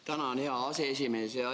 Tänan, hea aseesimees!